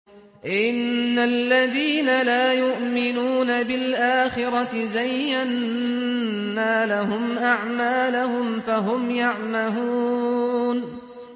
إِنَّ الَّذِينَ لَا يُؤْمِنُونَ بِالْآخِرَةِ زَيَّنَّا لَهُمْ أَعْمَالَهُمْ فَهُمْ يَعْمَهُونَ